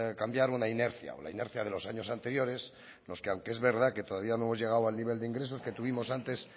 cambiar una inercia la inercia de los años anteriores en los que aunque es verdad que todavía no hemos llegado al nivel de ingresos que tuvimos antes